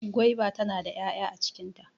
Gwaiba tana da 'ya'ya a cikin ta.